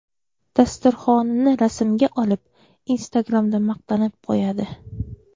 Dasturxonini rasmga olib, Instagram’da maqtanib qo‘yadi.